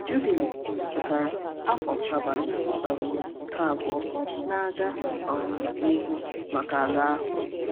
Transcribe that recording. Jubili pụtara afọ Sabbat um nke abụọ na-aga um n’ihu maka ala ahụ.